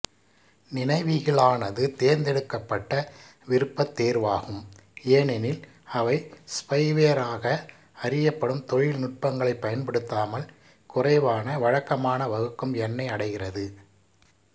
நினைவிகளானது தேர்ந்தெடுக்கப்பட்ட விருப்பத் தேர்வாகும் ஏனெனில் அவை ஸ்பைவேராக அறியப்படும் தொழில்நுட்பங்களைப் பயன்படுத்தாமல் குறைவான வழக்கமான வகுக்கும் எண்ணை அடைகிறது